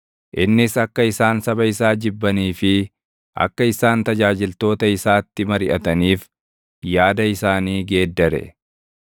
innis akka isaan saba isaa jibbanii fi akka isaan tajaajiltoota isaatti mariʼataniif yaada isaanii geeddare.